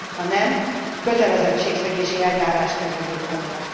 Ha nem, kötelezettségszegési eljárást kell indítania.